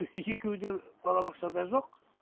екеуі де балабақшада жоқ